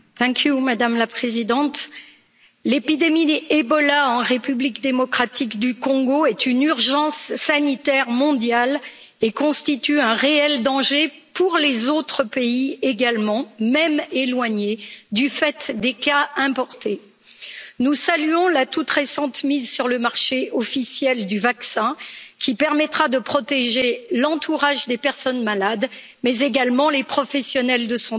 Madame la Présidente, l'épidémie d'Ebola en République démocratique du Congo est une urgence sanitaire mondiale et constitue un réel danger pour les autres pays également, même éloignés, du fait des cas importés. Nous saluons la toute récente mise sur le marché officielle du vaccin, qui permettra de protéger l'entourage des personnes malades et également les professionnels de santé.